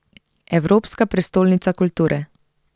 Evropska prestolnica kulture.